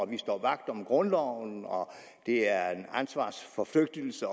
vi står vagt om grundloven og at det er ansvarsforflygtigelse